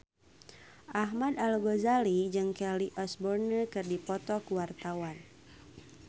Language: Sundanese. Ahmad Al-Ghazali jeung Kelly Osbourne keur dipoto ku wartawan